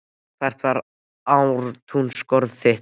Lætur ekki náttúran vita af sér allsstaðar?